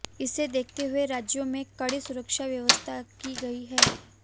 इसे देखते हुए राज्य में कड़ी सुरक्षा व्यवस्था की गई है